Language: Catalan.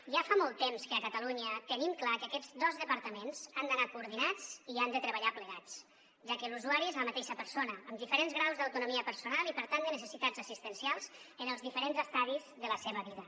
ja fa molt temps que a catalunya tenim clar que aquests dos departaments han d’anar coordinats i han de treballar plegats ja que l’usuari és la mateixa persona amb diferents graus d’autonomia personal i per tant de necessitats assistencials en els diferents estadis de la seva vida